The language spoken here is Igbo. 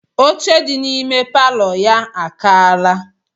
Oche dị n'ime palọ ya akaala.